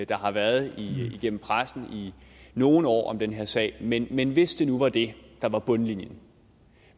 der har været i pressen i nogle år om den her sag men men hvis det nu var det der var bundlinjen